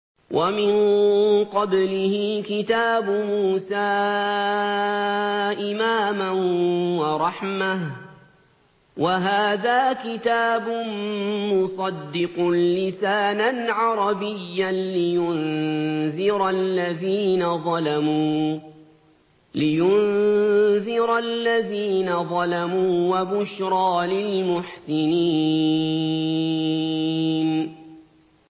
وَمِن قَبْلِهِ كِتَابُ مُوسَىٰ إِمَامًا وَرَحْمَةً ۚ وَهَٰذَا كِتَابٌ مُّصَدِّقٌ لِّسَانًا عَرَبِيًّا لِّيُنذِرَ الَّذِينَ ظَلَمُوا وَبُشْرَىٰ لِلْمُحْسِنِينَ